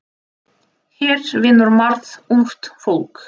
Hér vinnur margt ungt fólk.